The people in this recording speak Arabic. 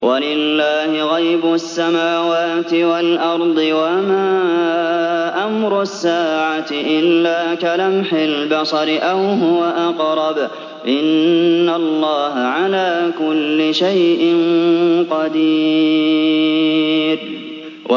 وَلِلَّهِ غَيْبُ السَّمَاوَاتِ وَالْأَرْضِ ۚ وَمَا أَمْرُ السَّاعَةِ إِلَّا كَلَمْحِ الْبَصَرِ أَوْ هُوَ أَقْرَبُ ۚ إِنَّ اللَّهَ عَلَىٰ كُلِّ شَيْءٍ قَدِيرٌ